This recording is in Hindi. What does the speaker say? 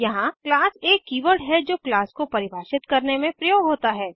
यहाँ क्लास एक कीवर्ड है जो क्लास को परिभाषित करने में प्रयोग होता है